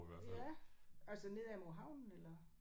Ja. Altså ned ad mod havnen eller?